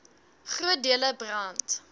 groot dele brand